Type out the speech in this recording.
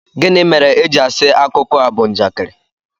gini mere eji asi akuko a bu njakịrị